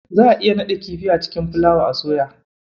Za a iya naɗa kifi a cikin fulawa a soya.